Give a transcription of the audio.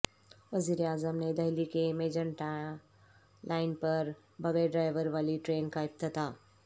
وزیراعظم نے دہلی کے میجنٹا لائن پر بغیرڈرائیور والی ٹرین کا کیا افتتاح